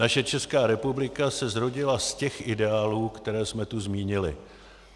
Naše Česká republika se zrodila z těch ideálů, které jsme tu zmínili.